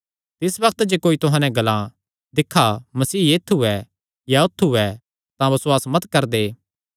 तिस बग्त जे कोई तुहां नैं ग्लां दिक्खा मसीह ऐत्थु ऐ या औत्थू ऐ तां बसुआस मत करदे